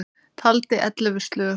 Taldi ellefu slög.